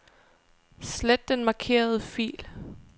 Slet den markerede fil.